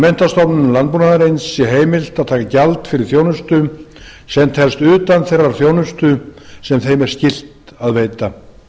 menntastofnunum landbúnaðarins sé heimilt að taka gjald fyrir þjónustu sem telst utan þeirrar þjónustu sem þeim er skylt að veita